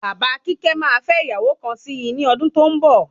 Bàbá kíkẹ́ máa fẹ ìyàwó kan sí ní ọdún tó ń bọ̀